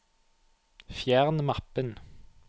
fjern mappen